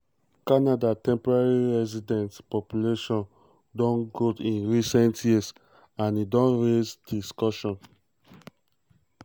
canada temporary resident population don grow in recent years and e don raise discussion.